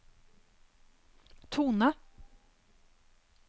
tone